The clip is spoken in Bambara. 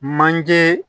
Manje